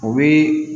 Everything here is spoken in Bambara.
O bɛ